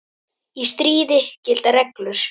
Í stríði gilda reglur.